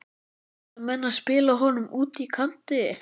Ætla menn að spila honum úti á kanti?